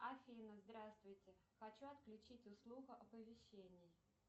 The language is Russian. афина здравствуйте хочу отключить услугу оповещение